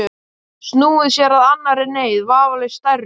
Snúið sér að annarri neyð, vafalaust stærri.